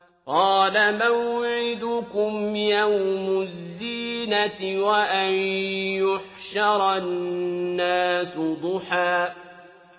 قَالَ مَوْعِدُكُمْ يَوْمُ الزِّينَةِ وَأَن يُحْشَرَ النَّاسُ ضُحًى